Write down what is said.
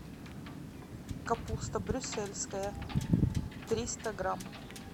капуста брюссельская триста грамм